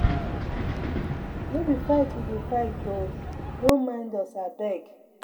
No be fight we dey fight oo. No mind us abeg.